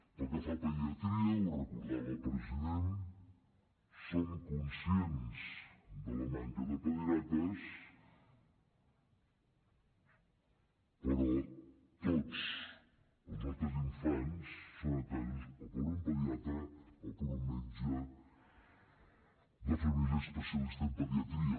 pel que fa a pediatria ho recordava el president som conscients de la manca de pediatres però tots els nostres infants són atesos o per un pediatra o per un metge de família especialista en pediatria